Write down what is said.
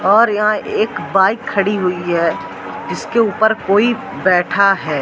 और यहां एक बाइक खड़ी हुई हैं जिसके ऊपर कोई बैठा हैं।